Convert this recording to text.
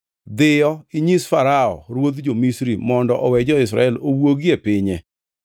“Dhiyo, inyis Farao ruodh jo-Misri mondo owe jo-Israel owuogi e pinye.”